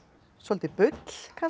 svolítið bull kannski